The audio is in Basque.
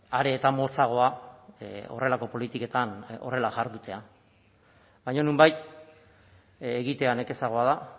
are eta motzagoa horrelako politiketan horrela jardutea baina nonbait egitea nekezagoa da